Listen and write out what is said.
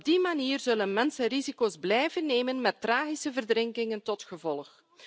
Op die manier zullen mensen risico's blijven nemen, met tragische verdrinkingen tot gevolg.